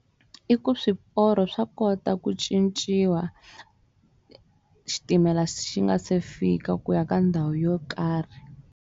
I ku swiporo swa kota ku cinciwa xitimela xi nga se fika ku ya ka ndhawu yo karhi.